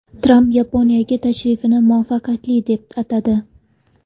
Tramp Yaponiyaga tashrifini muvaffaqiyatli deb atadi.